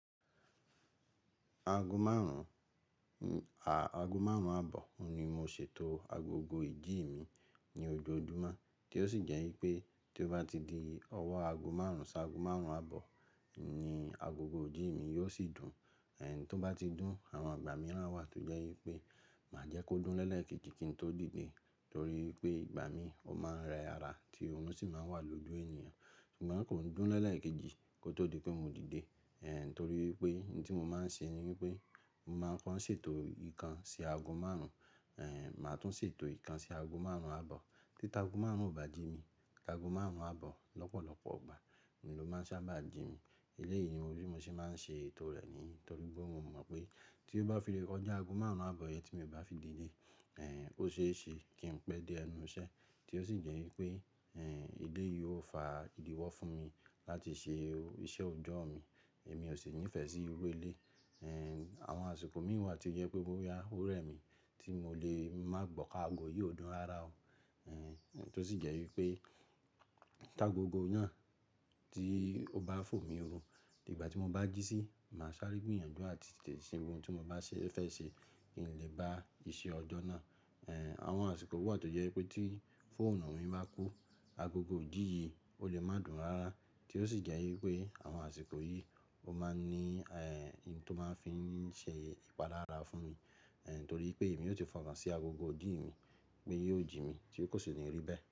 Aago márùn-ún, aago márùn-ún àbọ̀ ni mo ṣètò agogo ìjí mi ní ojoojúmọ́ tí ó sì jẹ́ wípé tí ó bá ti di ọwọ́ aago márùn-ún sí aago márùn-ún àbọ̀ ni agogo ìjí mi yóò sì dùn, èh, tó bá ti dùn àwọn ìgbà mìíràn wà tí ó jẹ́ wípé màá jẹ́ kó dùn lẹ́ẹ̀keji kí n tó dìde torí pé ìgbà mí ò máa ń ra ẹra tí òrun sì máa ń wà lójú ènìyàn ṣùgbọ́n kò dùn lẹ́ẹ̀keji kó tó di pé mo dìde, èh, torí pé ohun tí mo máa ń ṣe ni wípé mo máa ń kọ ṣètò ìkan sí aago márùn-ún, èh, màá tún ṣètò ìkan sí aago márùn-ún àbọ̀. Tí aago márùn-ún ò bá jí mi, tí aago márùn-ún àbọ̀ lọ́pọ̀lọpọ̀ ọgbà ni ló máa sábà jí mi. Eléyìí ni mo ríi mo ṣe máa ń ṣe ètò rẹ̀ ni torí pé mo mọ̀ pé tí ó bá fi rí ọjọ́ aago márùn-ún àbọ̀ yẹn tí èmi bá fi dìde, èh, ó ṣe é ṣe kí n pẹ́ dé ẹnu iṣẹ́ tí ó sì jẹ́ wípé, èh, ilé yóò fa ìdíwọ́ fún mi láti ṣe iṣẹ́ ọjọ́ mi èmi ò sì nífẹ̀ẹ́ sí irú ilé. Èh, àwọn àsìkò mìíràn wà tí ó jẹ́ pé bóyá òrẹ́ mi tí mo lè má gbọ̀ ki aago yìí o dùn rárá o, èh, tí ó sì jẹ́ wípé tí agogo náà tí ó bá fò mí run, nígbà tí mo bá jí sí, màá sáré gbìyànjú àti tètè ṣe ohun tí mo bá fẹ́ ṣe kí n lè bá iṣẹ́ ọjọ́ náà. Èh, àwọn àsìkò wà tí ó jẹ́ pé tí fóònù mi bá kú agogo ìdí yìí ó lè má dùn rárá tí ó sì jẹ́ wípé àwọn àsìkò yìí ó máa ń ní, èh, ohun tó máa ń fi ṣe ìpalára fún mi, èh, torí pé èmi yóò ti fi okàn sí agogo ìjí mi pé yóò jí mi tí kò sì ní orí bẹ́ẹ̀